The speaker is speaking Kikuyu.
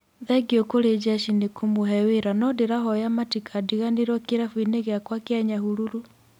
"Thengiũ kũrĩ jeshi nĩ kũmũhe wĩra no ndĩrahoya matikandiganĩrwo kĩrabu-inĩ gĩakwa kĩa Nyahururu".